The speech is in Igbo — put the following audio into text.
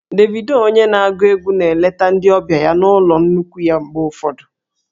Davido onye na-agụ egwu na-eleta ndị ọbịa ya na ụlọ nnukwu ya mgbe ụfọdụ